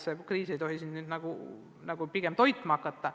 See kriis ei tohiks siin nüüd kedagi nagu toitma hakata.